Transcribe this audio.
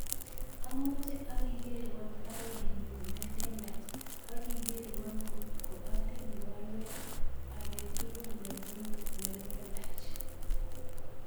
Asame akigerwon baruenyun nelelach agikerwon kot atinye baruet age tugul nenyun nelelach